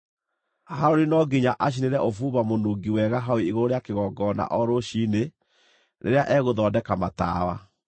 “Harũni no nginya acinĩre ũbumba mũnungi wega hau igũrũ rĩa kĩgongona o rũciinĩ rĩrĩa egũthondeka matawa.